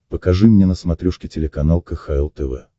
покажи мне на смотрешке телеканал кхл тв